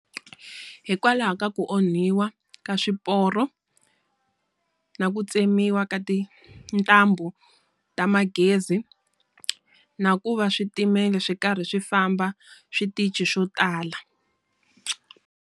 Hikwalaho ka ku onhiwa ka swiporo, na ku tsemiwa ka tintambu ta magezi, na ku va switimela swi karhi swi famba switichi swo tala.